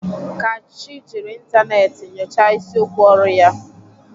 Kachi jiri ịntanetị nyochaa isiokwu ọrụ ya.